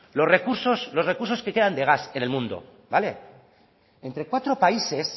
los recursos los recursos que quedan de gas en el mundo vale entre cuatro países